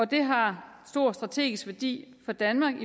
det har stor strategisk værdi for danmark